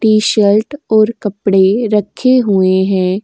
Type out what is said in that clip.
T-shirt और कपड़े रक्खे हुए हैं।